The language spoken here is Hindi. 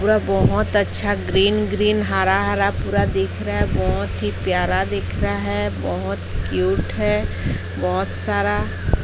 पूरा बहुत अच्छा ग्रीन ग्रीन हरा हरा पूरा दिख रहा है बहुत ही प्यारा दिख रहा है बहुत क्यूट है बहुत सारा--